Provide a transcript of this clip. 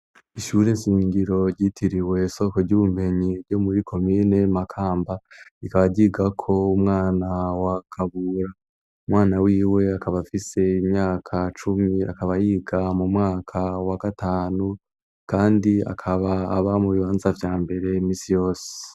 Ishuri shingiro ryitiriwe soko ry'ubumenyi ryo muri komine Makamba rikaba ryigako umwana wa Kabura, umwana wiwe akaba afise imyaka cumi akaba yiga mu mwaka wa gatanu kandi akaba aba mu bibanza vya mbere imisi yose.